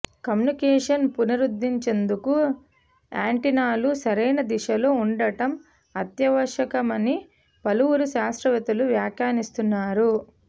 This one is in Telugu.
కమ్యూనికేషన్ పునరుద్ధరించేందుకు యాంటెన్నాలు సరైన దిశలో ఉండటం అత్యావశ్యకమని పలువురు శాస్త్రవేత్తలు వ్యాఖ్యానిస్తున్నారు